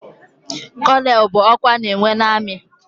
Kónónel bụ ọkwa ana enwe n'armi.